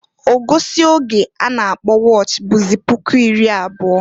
Ogosi oge a na-akpọ wọch bụzị puku iri abụọ.